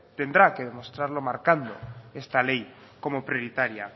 tendrá que demostrarlo marcando esta ley como prioritaria